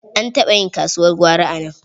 An taɓa yin kasuwar gwari a nan.